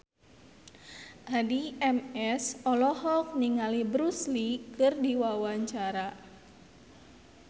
Addie MS olohok ningali Bruce Lee keur diwawancara